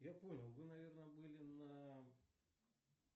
я понял вы наверное были на